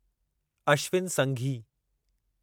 Ashwin Sanghi